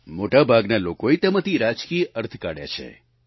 મોટાભાગના લોકોએ તેમાંથી રાજકીય અર્થ કાઢ્યા છે